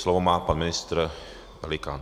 Slovo má pan ministr Pelikán.